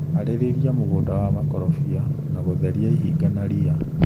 Harĩria mũgunda wa makorobia na gũtheria ihinga na ria.